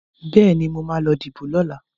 Bẹ́ẹ̀ni, mo ma lọ díbò lọ́la